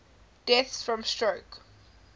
deaths from stroke